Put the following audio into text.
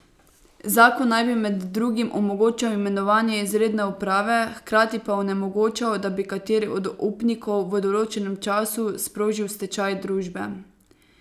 Zakon naj bi med drugim omogočal imenovanje izredne uprave, hkrati pa onemogočal, da bi kateri od upnikov v določenem času sprožil stečaj družbe.